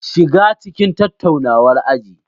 Shiga cikin tattaunawar aji.